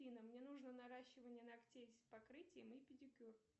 афина мне нужно наращивание ногтей с покрытием и педикюр